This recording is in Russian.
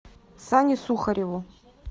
сане сухареву